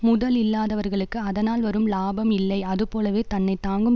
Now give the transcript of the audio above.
முதல் இல்லாதவர்களுக்கு அதனால் வரும் லாபம் இல்லை அதுபோலவே தன்னை தாங்கும்